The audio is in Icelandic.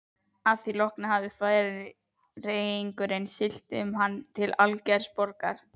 Að því loknu hafði Færeyingurinn siglt með hann til Algeirsborgar.